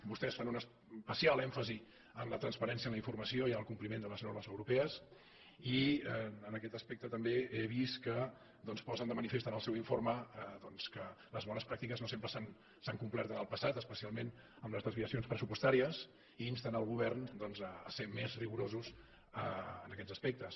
vostès fan un especial èmfasi en la transparència en la informació i en el compliment de les normes europees i en aquest aspecte també he vist que posen de manifest en el seu informe doncs que les bones pràctiques no sempre s’han complert en el passat especialment amb les desviacions pressupostàries i insten el govern a ser més rigorosos en aquests aspectes